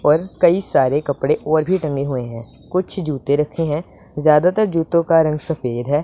और कई सारे कपड़े और भी टंगे हुए हैं कुछ जूते रखे हैं ज्यादातर जूतों का रंग सफेद है।